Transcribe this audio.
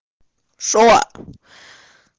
шо